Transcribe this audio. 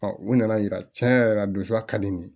u nana yira cɛn yɛrɛ la don fa ka di ye